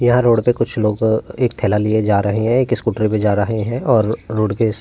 यहाँ रोड पे कुछ लोगो एक थैला लिए जा रहें हैं। एक स्कूटर भी जा रहें है और रोड के इस --